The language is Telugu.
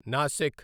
నాశిక్